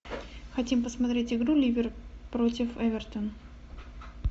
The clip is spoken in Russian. хотим посмотреть игру ливер против эвертон